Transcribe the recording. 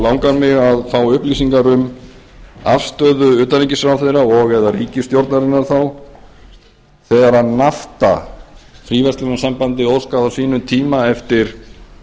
langar mig að fá upplýsingar um afstöðu utanríkisráðherra og eða ríkisstjórnarinnar þá þegar fara fríverslunarsambandið óskaði á sínum tíma eftir